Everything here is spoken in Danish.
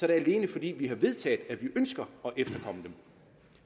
det alene fordi vi har vedtaget at vi ønsker